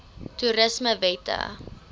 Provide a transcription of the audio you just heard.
toerismewette